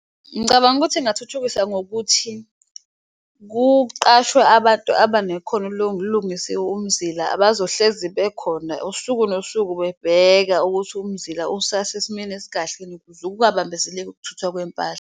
Ngicabanga ukuthi ingathuthukisa ngokuthi kuqashwe abantu abanekhono lokulungisa umzila abazohlezi bekhona usuku nosuku, bebheka ukuthi umzila usase simeni esikahleni ukuze kungabambezeleki ukuthuthwa kwempahla.